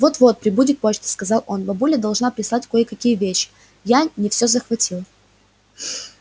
вот-вот прибудет почта сказал он бабуля должна прислать кое-какие вещи я не всё захватил